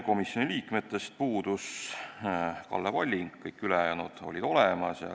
Komisjoni liikmetest puudus Kalle Palling, kõik ülejäänud olid kohal.